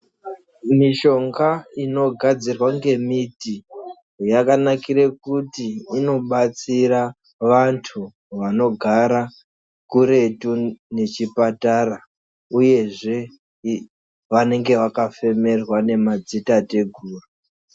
Mishonga inogadzirwa ngemiti yakanakire kuti inobatsira vantu vanogara kuretu nechipatara uyezve vanenga vakafemerwa nemadzitateguru .